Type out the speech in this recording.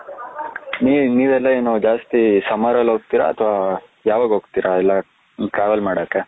ನೀವ್ ನೀವು ಎಲ್ಲ ಏನು ಜಾಸ್ತಿ summer ಅಲ್ಲಿ ಹೋಗ್ತಿರ ಅತ್ವ ಯಾವಾಗ ಹೋಗ್ತಿರ ಎಲ್ಲ , travel ಮಾಡಕೆ,